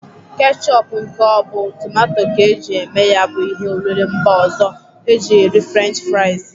Kechop nke ọ bụ tomato ka e ji eme ya bụ ihe oriri mba ọzọ e ji eri french fraiz.